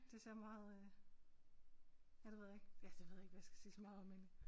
Det ser meget øh ja det ved jeg ikke ja det ved jeg ikke hvad jeg skal sige så meget om men